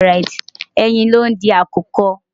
Ẹyin lo ń di àkùkọ.